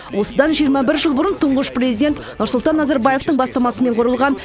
осыдан жиырма бір жыл бұрын тұңғыш президент нұрсұлтан назарбаевтың бастамасымен құрылған